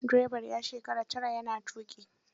Direban ya shekara tara ya na tuƙi.